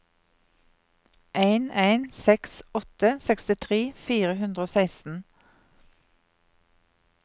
en en seks åtte sekstitre fire hundre og seksten